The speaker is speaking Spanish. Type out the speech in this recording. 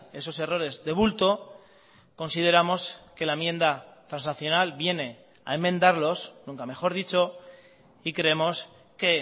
esos errores de bulto consideramos que la enmienda transaccional viene a enmendarlos nunca mejor dicho y creemos que